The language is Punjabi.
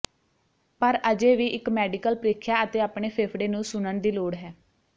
ਪਰ ਅਜੇ ਵੀ ਇਕ ਮੈਡੀਕਲ ਪ੍ਰੀਖਿਆ ਅਤੇ ਆਪਣੇ ਫੇਫੜੇ ਨੂੰ ਸੁਣਨ ਦੀ ਲੋੜ ਹੈ